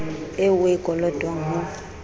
eo o e kolotwang ho